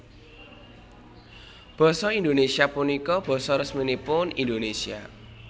Basa Indonésia punika basa resminipun Indonésia